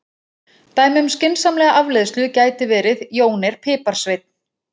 Dæmi um skynsamlega afleiðslu gæti verið: Jón er piparsveinn.